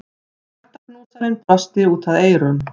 Hjartaknúsarinn brosti út að eyrum.